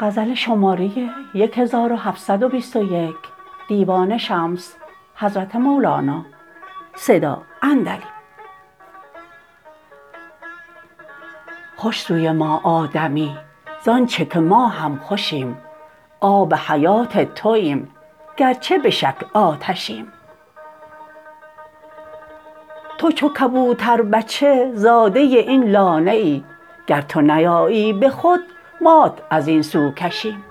خوش سوی ما آ دمی ز آنچ که ما هم خوشیم آب حیات توایم گرچه به شکل آتشیم تو جو کبوتربچه زاده این لانه ای گر تو نیایی به خود مات از این سو کشیم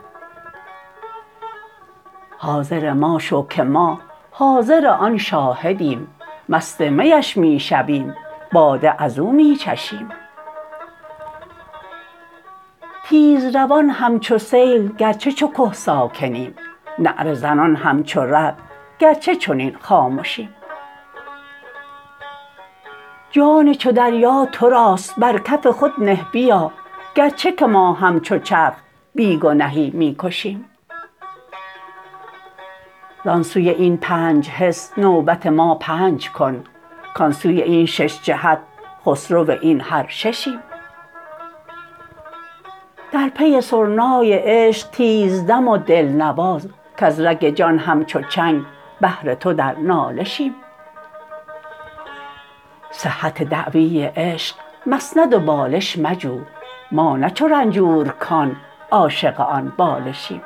حاضر ما شو که ما حاضر آن شاهدیم مست می اش می شویم باده از او می چشیم تیزروان همچو سیل گرچه چو که ساکنیم نعره زنان همچو رعد گرچه چنین خامشیم جان چو دریا تو راست بر کف خود نه بیا گرچه که ما همچو چرخ بی گنهی می کشیم زان سوی این پنج حس نوبت ما پنج کن کان سوی این شش جهت خسرو این هر ششیم در پی سرنای عشق تیزدم و دلنواز کز رگ جان همچو چنگ بهر تو در نالشیم صحت دعوی عشق مسند و بالش مجو ما نه چو رنجورکان عاشق آن بالشیم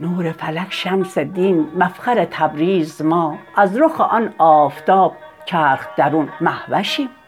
نور فلک شمس دین مفخر تبریز ما از رخ آن آفتاب چرخ درون مه وشیم